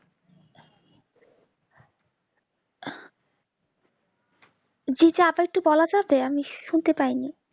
জি জি আবার একটু বলা চলবে আমি শুনতে পাইনি